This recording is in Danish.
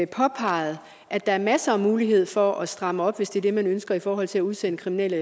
påpeget at der er masser af muligheder for at stramme op hvis det er det man ønsker i forhold til at udsende kriminelle